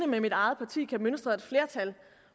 med mit eget parti kan mønstre et flertal